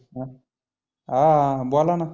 मग अं बोलाना.